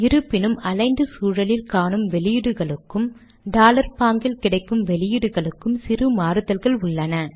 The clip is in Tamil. இருப்பினும் அலிக்ன்ட் சூழலில் காணும் வெளியீடுகளுக்கும் டாலர் பாங்கில் கிடைக்கும் வெளியீடுகளுக்கும் சிறு மாறுதல்கள் உள்ளன